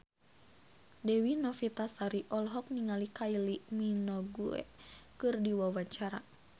Dewi Novitasari olohok ningali Kylie Minogue keur diwawancara